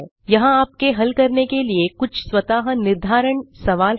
यहाँ आपके हल करने के लिए कुछ स्वतः निर्धारण सवाल हैं